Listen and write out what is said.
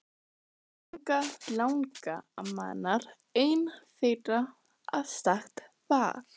Langalangamma hennar ein þeirra að sagt var.